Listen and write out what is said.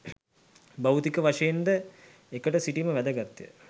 භෞතික වශයෙන්ද එකට සිටීම වැදගත්ය